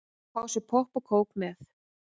Fá sér popp og kók með.